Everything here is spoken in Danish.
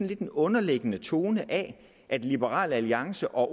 lidt en underliggende tone af at liberal alliance og